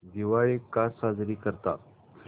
दिवाळी का साजरी करतात